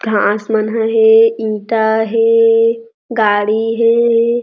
घाँस मन ह हे इंटा हे गाड़ी हे।